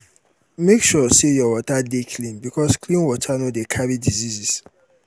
make sure say your water de clean because clean water no de carry diseases